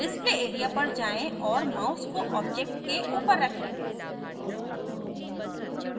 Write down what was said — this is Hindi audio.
display area पर जाएँ और mouse को object के ऊपर रखें